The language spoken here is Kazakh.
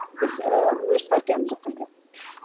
біз ііі өз партиямызды құрдық